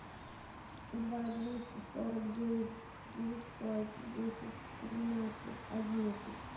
два двести сорок девять девятьсот десять тринадцать одиннадцать